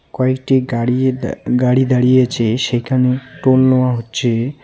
কয়েকটি গাড়ি-এ-গাড়ি দাঁড়িয়ে আছে সেইখানে টোল নেওয়া হচ্ছে.